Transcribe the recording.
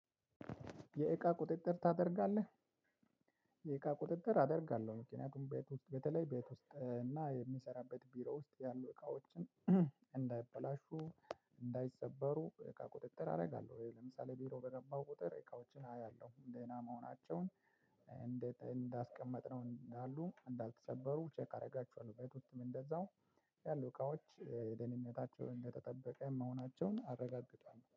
የእቃ ቁጥጥር ታደርጋለህ? የእቃ ቁጥጥር አደርጋለሁ ምክንያቱም ቤት ውስጥ በተለይ ቤት ውስጥ እና የሚሰራበት ቢሮ ውስጥ ያሉ እቃዎችን እንዳይበላሹ እንዳይሰበሩ እቃ ቁጥጥር አደርጋለሁ። ለምሳሌ ቢሮ በገባው ቁጥር እቃዎችን አያለሁ ደህና መሆናቸውን እንዳሉ እንዳልተሰበሩ ቼክ አደርጋችኋለሁ። ቤት ውስጥም እንደዛው ያሉ እቃዎች ደህንነታቸው እንደተጠበቀ መሆናቸውን አረጋግጣለሁ